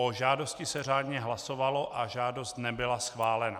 O žádosti se řádně hlasovalo a žádost nebyla schválena.